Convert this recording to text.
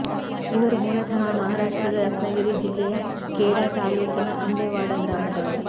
ಇವರು ಮೂಲತಃ ಮಹಾರಾಷ್ಟ್ರದ ರತ್ನಗಿರಿ ಜಿಲ್ಲೆಯ ಖೇಡಾ ತಾಲೂಕಿನ ಅಂಬೆವಾಡ ಗ್ರಾಮದವರು